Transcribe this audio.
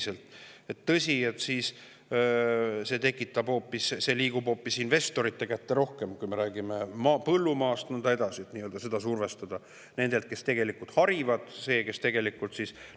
Kui me räägime põllumaast, siis see liigub rohkem hoopis investorite kätte – seda nii-öelda survestatakse – nendelt, kes tegelikult harivad.